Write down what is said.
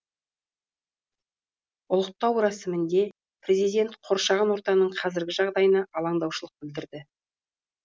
ұлықтау рәсімінде президент қоршаған ортаның қазіргі жағдайына алаңдаушылық білдірді